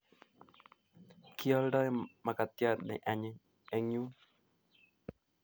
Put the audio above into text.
Kialdoi makatiat ne anyiny eng yun